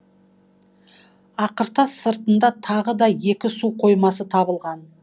ақыртас сыртында тағы да екі су қоймасы табылған